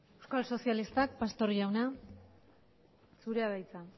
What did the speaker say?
euskal sozialistak pastor jauna zurea da hitza